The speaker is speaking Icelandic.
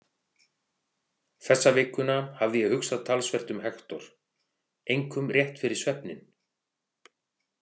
Þessa vikuna hafði ég hugsað talsvert um Hektor, einkum rétt fyrir svefninn.